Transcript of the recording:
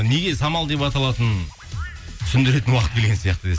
неге самал деп аталатынын түсіндіретін уақыт келген сияқты